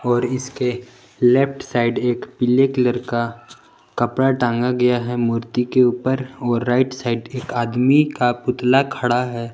और इसके left side एक पीले कलर का कपड़ा टांगा गया है मूर्ति के ऊपर और राइट साइड एक आदमी का पुतला खड़ा है।